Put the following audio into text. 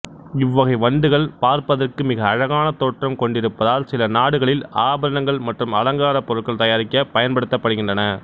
இவ்வகை வண்டுகள் பார்ப்பதற்கு மிக அழகான தோற்றம் கொண்டிருப்பதால் சில நாடுகளில் ஆபரணங்கள் மற்றும் அலங்கார பொருட்கள் தயாரிக்கப் பயன்படுத்தப்படுகின்றன